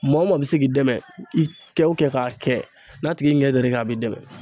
Maa o maa bɛ se k'i dɛmɛ i kɛ o kɛ k'a kɛ n'a tigi ɲɛ dar'i ka a b'i dɛmɛ.